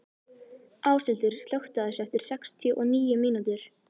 Áshildur, slökktu á þessu eftir sextíu og níu mínútur.